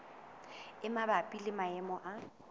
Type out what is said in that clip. e mabapi le maemo a